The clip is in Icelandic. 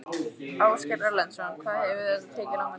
Ásgeir Erlendsson: Hvað hefur þetta tekið langan tíma?